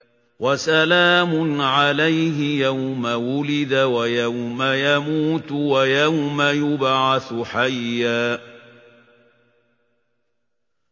وَسَلَامٌ عَلَيْهِ يَوْمَ وُلِدَ وَيَوْمَ يَمُوتُ وَيَوْمَ يُبْعَثُ حَيًّا